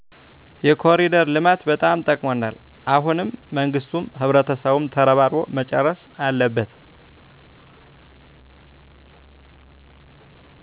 የኮኒደር ልማት በጣም ጠቅሞናል። አሁንም መንግስቱም ህብረተሰቡም ተረባርቦ መጨረስ አለበት